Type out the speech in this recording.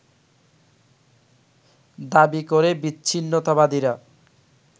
দাবী করে বিচ্ছিন্নতাবাদীরা